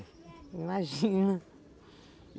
Imagina